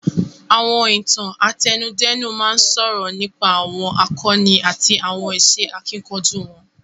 Àwọn Ìtàn àtẹnudẹ́nu máa ń sọ̀rọ̀ nípa àwọn àkọni àti àwọn iṣẹ́ akíkanjú wọn